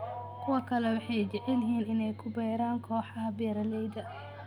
Kuwa kale waxay jecel yihiin inay ku biiraan kooxaha beeralayda.